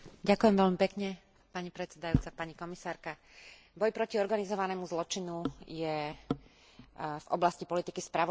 Boj proti organizovanému zločinu je v oblasti politiky spravodlivosti Európskej únie jednou z najdôležitejších oblastí a priorít.